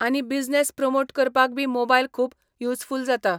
आनी business promote करपाक बी मोबायल खूब युजफूल जाता.